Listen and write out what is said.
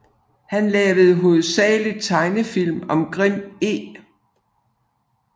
Han lavede hovedsageligt tegnefilm om Grim E